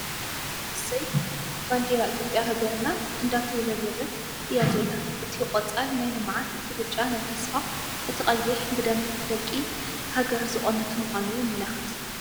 እሰይ ባንዴራ ኢ/ያ ሃገርና እንዳተውሰብሰበት እያ ዘላ፡ እቲ ቖፃል ናይ ልምዓት፣ እቲ ብጫ ናይ ተስፋ፡ እቲ ቐይሕ ብደም ደቒ ሓገር ዝቖመት ምዃኑ የመላኽት ።